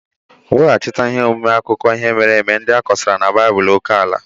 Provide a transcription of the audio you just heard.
Weghachite ihe omume akụkọ ihe mere eme ndị akọsara na bọọlụ oke ala.